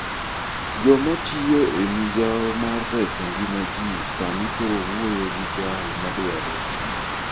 Joma tiyo e migawo mar reso ngima ji sani koro wuoyo gi jal ma dwaro tich.